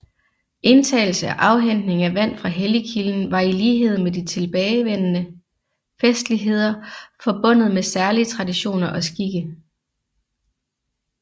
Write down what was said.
Indtagelse og afhentning af vand fra helligkilden var i lighed med de tilbagevende festligheder forbundet med særlige traditioner og skikke